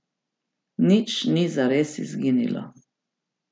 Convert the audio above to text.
Nič ni zares izginilo.